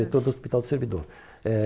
Diretor do Hospital do Servidor. Eh